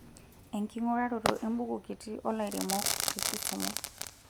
Enking'uraroto embuku kitii oolairemoke te kisumu.